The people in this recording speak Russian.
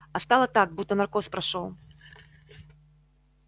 а стало так будто наркоз прошёл